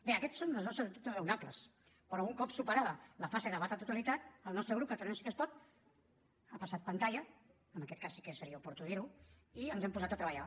bé aquests són els nostres dubtes raonables però un cop superada la fase de debat a la totalitat el nostre grup catalunya sí que es pot ha passat pantalla en aquest cas sí que seria oportú dir ho i ens hem posat a treballar